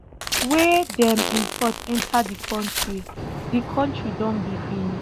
wey dem import enta di kontri di kontri don begin